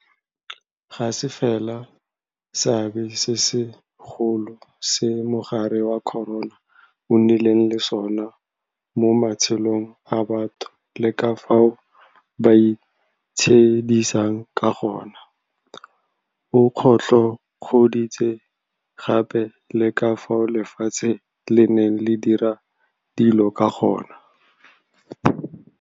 Ga se fela seabe se segolo se mogare wa corona o nnileng le sona mo matshelong a batho le ka fao ba itshedisang ka gone, o kgotlhokgoditse gape le ka fao lefatshe le neng le dira dilo ka gone.